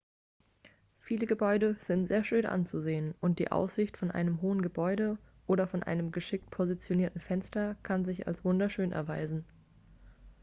viele gebäude sind sehr schön anzusehen und die aussicht von einem hohen gebäude oder von einem geschickt positionierten fenster kann sich als wunderschön erweisen